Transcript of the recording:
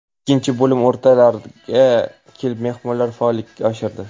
Ikkinchi bo‘lim o‘rtalariga kelib mehmonlar faollikni oshirdi.